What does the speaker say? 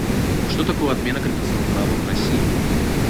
что такое отмена крепостного права в россии